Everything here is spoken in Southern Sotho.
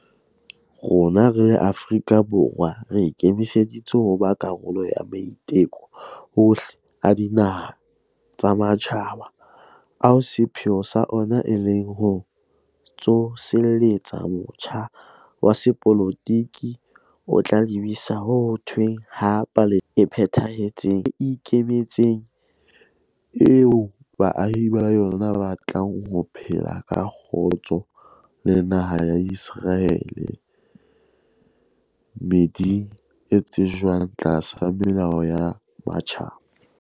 Rona re le Afrika Borwa re ikemiseditse ho ba karolo ya maiteko ohle a dinaha tsa matjhaba ao sepheo sa ona e leng ho tsoseletsa motjha wa sepolotiki o tla lebisa ho thehweng ha Palestina e phethahetseng e ikemetseng, eo baahi ba yona ba tlang ho phela ka kgotso le naha ya Iseraele, meeding e tsejwang tlasa melao ya matjhaba.